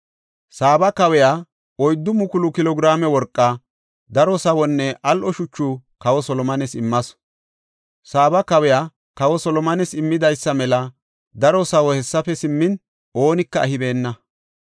Saaba kawiya 4,000 kilo giraame worqa, daro sawonne al7o shuchu kawa Solomones immasu. Saaba kawiya kawa Solomones immidaysa mela daro sawo hessafe simmin oonika ehibeenna.